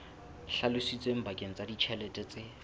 hlalositsweng bakeng sa ditjhelete tse